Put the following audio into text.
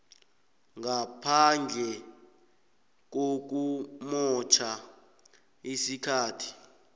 ngaphandle kokumotjha isikhathi